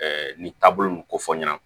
nin taabolo nin kofɔ n ɲɛna